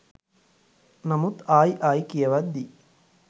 නමුත් ආයි ආයි කියවද්දි